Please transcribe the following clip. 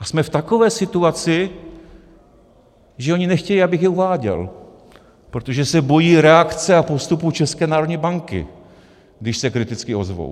A jsme v takové situaci, že oni nechtějí, abych je uváděl, protože se bojí reakce a postupu České národní banky, když se kriticky ozvou.